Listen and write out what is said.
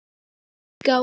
En einnig er til útgáfan